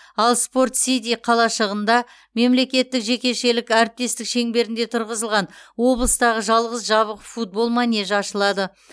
ал спорт сити қалашығында мемлекеттік жекешелік әріптестік шеңберінде тұрғызылған облыстағы жалғыз жабық футбол манежі ашылады